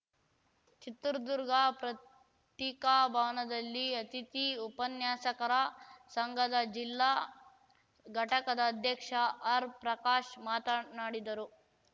ಚಿತ್ರದುರ್ಗ ಪ್ರತ್ತಿಕಾಭವನದಲ್ಲಿ ಅತಿಥಿ ಉಪನ್ಯಾಸಕರ ಸಂಘದ ಜಿಲ್ಲಾ ಘಟಕದ ಅಧ್ಯಕ್ಷ ಆರ್‌ಪ್ರಕಾಶ್‌ ಮಾತನಾಡಿದರು